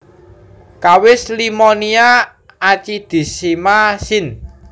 Kawis Limonia acidissima syn